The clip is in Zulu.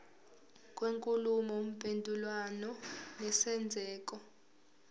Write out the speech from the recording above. kwenkulumo mpendulwano nesenzeko